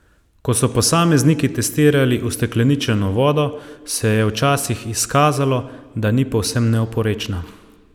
Ko so posamezniki testirali ustekleničeno vodo, se je včasih izkazalo, da ni povsem neoporečna.